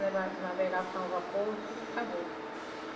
Nave navegação a vapor, tudo acabou.